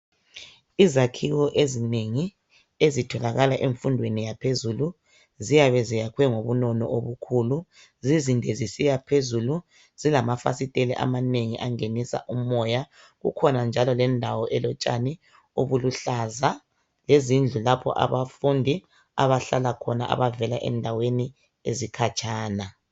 Izakhiwo ezinengi ezitholakala emfundweni yaphezulu ziyabe ziyakhiwe ngobunono obukhulu zizinde zisiya phezulu zilamafasitele amanengi zingenisa umoya kukhona indawo elotshani obuluhlaza lezindlu lapho okuhlala khona abafundi abavela khatshana